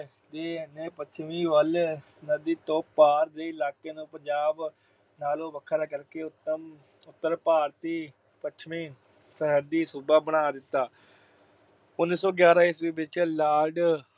ਨੇ ਪੱਛਮੀ ਵੱਲ ਨਦੀ ਤੋਂ ਪਾਰ ਦੇ ਇਲਾਕੇ ਨੂੰ ਪੰਜਾਬ ਨਾਲੋਂ ਵੱਖਰਾ ਕਰਕੇ ਉਤਮ ਅਹ ਉਤਰ ਭਾਰਤੀ ਪੱਛਮੀ ਸਰਹੱਦੀ ਸੂਬਾ ਬਣਾ ਦਿੱਤਾ। ਉਨੀ ਸੌ ਗਿਆਰਾਂ ਈਸਵੀ ਵਿੱਚ Lord